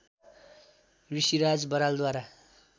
Rishiraj बरालद्वारा